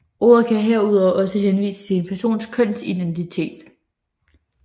Ordet kan herudover også henvise til en persons kønsidentitet